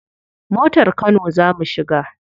Motar kano za mu shiga.